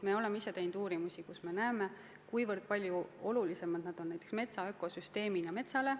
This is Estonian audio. Me oleme teinud uuringuid, kus me oleme näinud, kui palju olulisemad need on metsa ökosüsteemi seisukohalt.